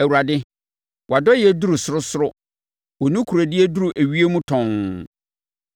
Awurade, wʼadɔeɛ duru sorosoro wo nokorɛdie duru ewiem tɔnn.